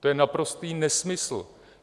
To je naprostý nesmysl.